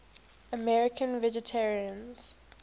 american vegetarians